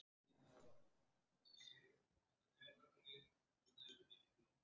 Tóbaksreykurinn stendur andartak kyrr í loftinu svo er það ákveðið.